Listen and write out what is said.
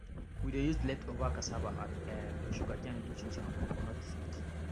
we dey use leftover cassava and um sugarcane do chinchin and coconut sweet